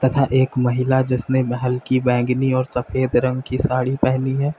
एक महिला जिसने हल्की बैंगनी और सफेद रंग की साड़ी पहनी है।